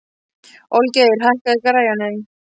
Olgeir, hækkaðu í græjunum.